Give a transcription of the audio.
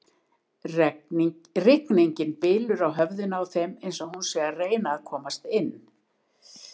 Rigningin bylur á höfðinu á þeim eins og hún sé að reyna að komast inn.